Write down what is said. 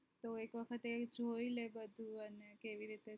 તો એક વખત એ જોઈ લે તો બધું અને કેવી રીતે